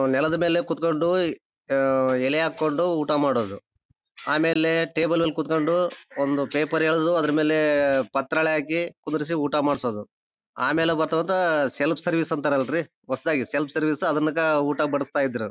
ನಾವು ನೆಲದ ಮೇಲೆ ಕುತ್ಕೊಂಡು ಎಲೆ ಹಾಕೊಂಡು ಊಟ ಮಾಡೋದು ಆಮೇಲೆ ಟೇಬಲ್ ಅಲ್ಲಿ ಕುತ್ಕೊಂಡು ಒಂದು ಪೇಪರ್ ಎಳೆದು ಅದ್ರ ಮೇಲೆ ಪತ್ರಲೇ ಹಾಕಿ ಕುಂದ್ರಿಸಿ ಊಟ ಮಾಡ್ಸೋದು ಆಮೇಲೆ ಬರ್ತಾ ಬರ್ತಾ ಸೆಲ್ಫ್ ಸರ್ವಿಸ್ ಅಂತರಲರಿ ಹೊಸದಾಗಿ ಸೆಲ್ಫ್ ಸರ್ವಿಸ್ ಅದ್ರಾಗ ಊಟ ಬಡಿಸ್ತಾ ಇದ್ರೂ .